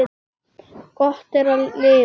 Gott er að lifa.